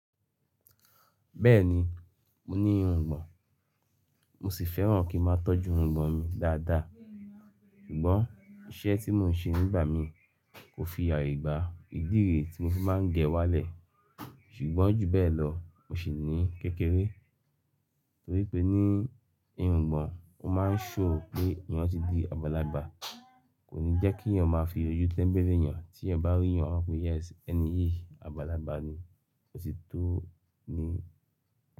Bẹ́ẹ̀ni, mo ní irungbọ̀n, mo sì fẹ́ràn kí máa tọ́jú irungbọ̀n mi dáadáa. Ṣùgbọ́n iṣẹ́ tí mò ń ṣe nígbà mí kò fi aye gbà ìdí ère tí mo fi máa ń gẹ wá lẹ̀. Ṣùgbọ́n jù bẹ́ẹ̀ lọ, mo sì ní kékeré torí pé ní irungbọ̀n, ó máa ń ṣhow pé eyàn ti di agbalagbà. Kò ní jẹ́ kí eyàn máa fi oju tẹ́ńbéu eyàn. Tí eyàn bá rí yàn, won mó pé, "Yes, ẹni yìí agbalagbà ni." Ó sì tó ni.